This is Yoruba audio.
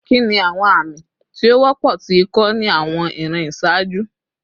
Kini awọn ami ti o wọpọ ti iko ni awọn iran iṣaaju?